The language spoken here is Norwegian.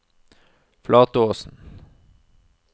Flatåsen